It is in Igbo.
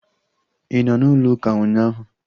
Ị nọ n'ụlọ ụka ụnyaahụ?